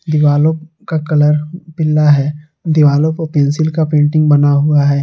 दिवालो का कलर पीला है दीवालो को पेंसिल का पेंटिंग बना हुआ है।